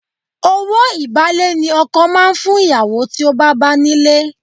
Owó ìbálé ni ọkọ máa ń fún ìyàwó tí ó bá bá nílé.